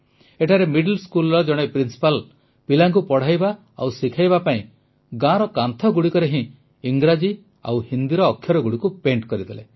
ଏଠାରେ ସ୍କୁଲ ର ଜଣେ ପ୍ରିନ୍ସିପାଲ୍ ପିଲାଙ୍କୁ ପଢ଼ାଇବା ଓ ଶିଖାଇବା ପାଇଁ ଗାଁର କାନ୍ଥଗୁଡ଼ିକରେ ହିଁ ଇଂରାଜୀ ଓ ହିନ୍ଦୀର ଅକ୍ଷରଗୁଡ଼ିକୁ ଆଙ୍କିଦେଲେ